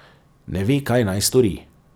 Ne ve, kaj naj stori.